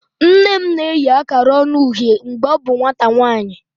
Nne m na-eyi akara ọñu uhie mgbe ọ bụ nwata nwanyị.